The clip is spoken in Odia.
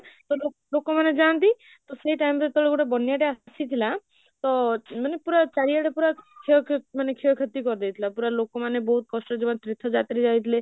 ତ ଲୋକ ମାନେ ଯାନ୍ତି ତ ସେଇ time ଗୋଟେ ବନ୍ୟା ତେ ଆସିଥିଲା ତ ମାନେ ପୁରା ଚାରିଆଡେ ପୂରା ମାନେ କରି ଦେଇଥିଲା ପୂରା ଲୋକ ମାନେ ବହୁତ କଷ୍ଟରେ ଯୋଉ ମାନେ ତୀର୍ଥ ଯାତ୍ରୀ ଯାଇଥିଲେ